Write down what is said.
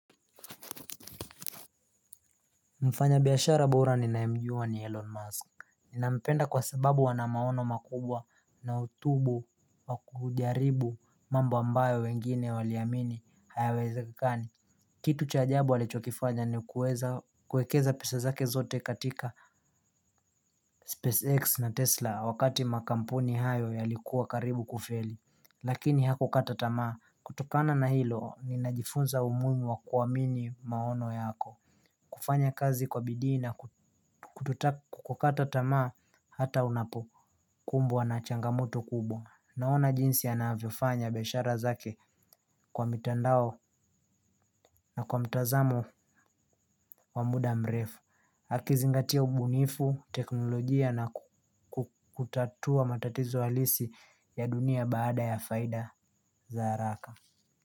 Mfanya biashara bora ninayemjua ni Elon Musk. Ninampenda kwa sababu ana maono makubwa na utubu wakujaribu mambo ambayo wengine waliamini hayawezekani. Kitu cha ajabu alichokifanya ni kueza kuekeza pesa zake zote katika Space X na Tesla wakati makampuni hayo yalikuwa karibu kufeli. Lakini haku kata tamaa. Kutokana na hilo ni najifunza umuhimu wa kuamini maono yako. Kufanya kazi kwa bidii na kutokata tamaa hata unapokumbwa na changamoto kubwa. Naona jinsi anavyofanya biashara zake kwa mitandao na kwa mtazamo wa muda mrefu akizingatia ubunifu, teknolojia na kutatua matatizo halisi ya dunia baada ya faida za haraka.